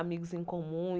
Amigos em comum.